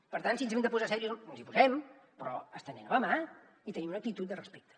per tant si ens hem de posar seriosos ens hi posem però estenent la mà i tenint una actitud de respecte